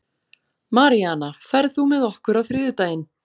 Maríana, ferð þú með okkur á þriðjudaginn?